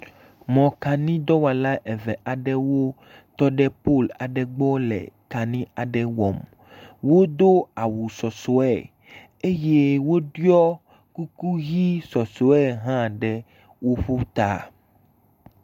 Mɔkanidɔwɔla eve aɖewo tɔ ɖe polu aɖe gbɔ le kani aɖe wɔm. wodo awu sɔsɔe eye woɖɔe kuku ʋi sɔsɔe hã ɖe woƒo ta.